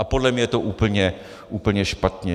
A podle mě je to úplně špatně.